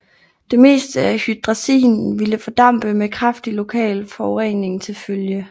Det meste af hydrazinen ville fordampe med kraftig lokal forurening til følge